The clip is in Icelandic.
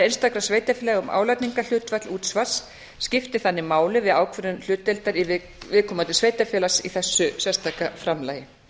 sveitarfélaga um álagningarhlutfall útsvars skipti þannig máli við ákvörðun hlutdeildar viðkomandi sveitarfélags í þessu sérstaka framlagi